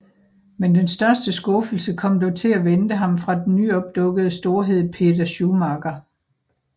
Men den største skuffelse kom dog til at vente ham fra den nyopdukkende storhed Peder Schumacher